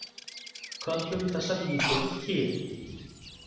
Köllum þessar líkur Kyn